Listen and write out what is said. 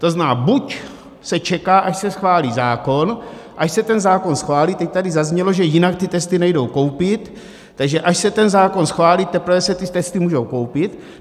To znamená, buď se čeká, až se schválí zákon, až se ten zákon schválí, teď tady zaznělo, že jinak ty testy nejdou koupit, takže až se ten zákon schválí, teprve se ty testy můžou koupit?